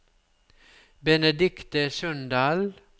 Benedikte Sundal